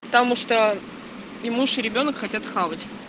потому что и муж и ребёнок хотят хавать